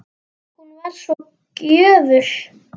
Hún var svo gjöful.